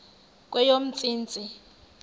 kweyomntsintsi